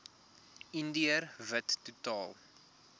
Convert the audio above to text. indiër wit totaal